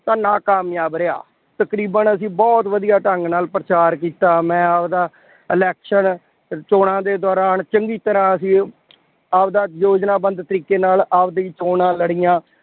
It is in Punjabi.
ਤਾਂ ਨਾਕਾਮਯਾਬ ਰਿਹਾ। ਤਕਰੀਬਨ ਅਸੀਂ ਬਹੁਤ ਵਧੀਆ ਢੰਗ ਨਾਲ ਪ੍ਰਚਾਰ ਕੀਤਾ, ਮੈਂ ਆਪਦਾ election ਚੋਣਾਂ ਦੇ ਦੌਰਾਨ, ਚੰਗੀ ਤਰ੍ਹਾਂ ਅਸੀਂ ਆਪਦਾ ਯੋਜਨਾਬੱਧ ਤਰੀਕੇ ਨਾਲ ਆਪਦੀ ਚੋਣਾਂ ਲੜੀਆਂ।